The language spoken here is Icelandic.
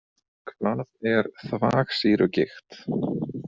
Hvað er þvagsýrugigt?